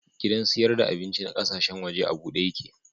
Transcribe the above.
Gidan siyar da abinci na kasashen waje a bude yake.